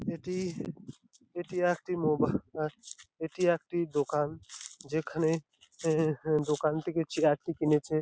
এটি এটি একটি মোবা অ্যা এটি একটি দোকান যেখানে অ্যা-অ্যা দোকান থেকে চেয়ার -টি কিনেছে ।